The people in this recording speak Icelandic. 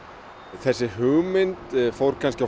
þessi hugmynd fór kannski af